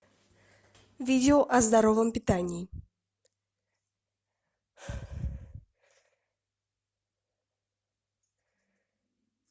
видео о здоровом питании